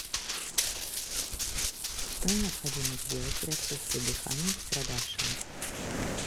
что необходимо сделать при отсутствии дыхания у пострадавшего